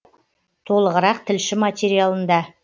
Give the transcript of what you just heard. толығырақ тілші материалында